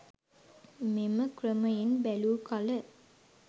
මෙම ක්‍රමයෙන් බැලූ කළ